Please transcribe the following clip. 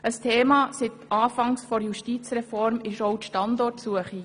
Ein Thema ist seit Beginn der Justizreform auch die Standortsuche.